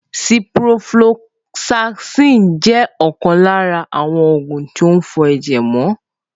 Ciprofloxacin jẹ́ ọ̀kan lára àwọn oògùn tí ń fọ ẹ̀jẹ̀ mọ